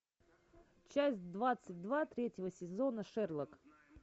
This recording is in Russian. часть двадцать два третьего сезона шерлок